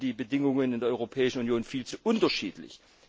Dafür sind die Bedingungen in der Europäischen Union viel zu unterschiedlich.